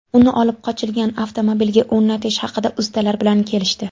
Uni olib qochilgan avtomobilga o‘rnatish haqida ustalar bilan kelishdi.